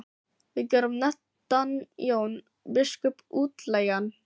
Vér gerum nefndan Jón biskup útlægan!